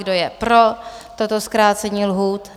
Kdo je pro toto zkrácení lhůty?